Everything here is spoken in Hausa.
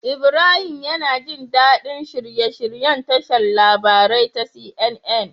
Ibrahim yAna jin dadi shirye shiryen tashar labarai ta CNN